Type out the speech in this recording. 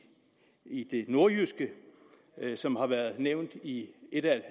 det nordjyske som har været nævnt i et af